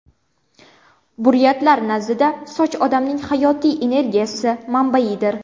Buryatlar nazdida soch odamning hayotiy energiyasi manbaidir.